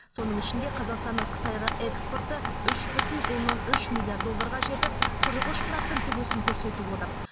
соның ішінде қазақстанның қытайға экспорты үш бүтін оннан үш миллиард долларға жетіп қырық үш проценттік өсім көрсетіп отыр